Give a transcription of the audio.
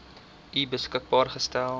u beskikbaar gestel